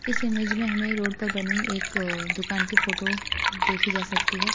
इस इमेज में हमें रोड पर बनी एक दुकान की फोटो देखी जा सकती है।